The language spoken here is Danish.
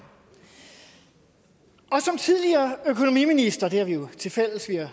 og som tidligere økonomiministre det har vi jo tilfælles vi har